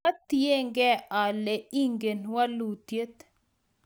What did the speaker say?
Kwa tienengei ale ingen walutiet